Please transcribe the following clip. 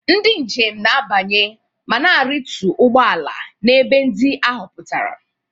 Ndị njem na-abanye ma na-arịtu ụgbọ ala n'ebe ndị a họpụtara.